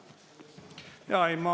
Aitäh!